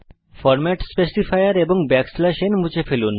format specifier এবং n মুছে ফেলুন